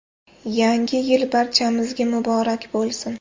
Yangi yil barchamizga muborak bo‘lsin!